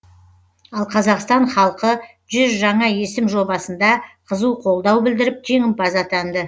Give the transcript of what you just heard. ал қазақстан халқы жүз жаңа есім жобасында қызу қолдау білдіріп жеңімпаз атанды